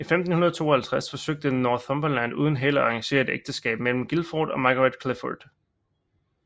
I 1552 forsøgte Northumberland uden held at arrangere et ægteskab mellem Guildford og Margaret Clifford